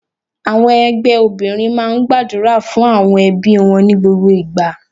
Àwọn ẹgbẹ́ obìnrin máa ń gbàdúrà fún àwọn ẹbí wọn ní gbogbo ìgbà.